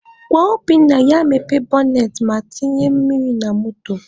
Gwa Obinna ya mepee bọnet ma tinye mmiri na moto